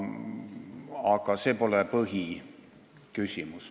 Aga see pole põhiküsimus.